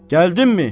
Gəldinmi?